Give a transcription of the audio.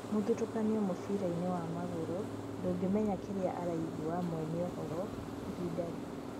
Mũthutũkanio mũbira-inĩ wa magũrũ, ndũngĩmenya kĩrĩa araigua mwene ũhoro ihinda rĩu'